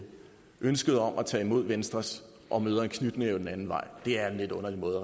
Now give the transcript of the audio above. ønsket om at tage imod venstres og møder en knytnæve den anden vej det er en lidt underlig måde